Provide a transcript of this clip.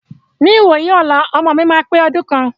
Ní ìwòyí ọlá, ọmọ mi máa pe ọdún kan.